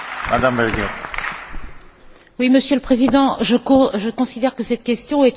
Monsieur le Président, je considère que cette question est une question en forme de mise en cause personnelle.